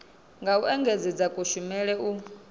nga u engedzedza kushumele u